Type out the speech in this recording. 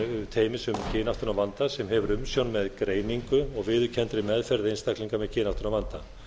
teymis um kynáttunarvanda sem hefur umsjón með greiningu og viðurkenndri meðferð einstaklinga með kynáttunarvanda